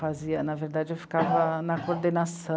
Fazia, na verdade, eu ficava na